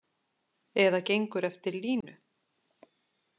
Eða gengur eftir línu.